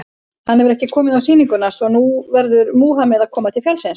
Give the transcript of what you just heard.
Hann hefur ekki komið á sýninguna, svo að nú verður Múhameð að koma til fjallsins.